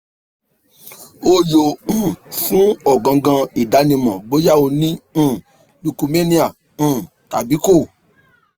o yoo um fun o gangan idanimọ boya o ni um um tabi ko